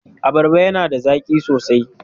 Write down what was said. Abarrba yana da zaki sosai.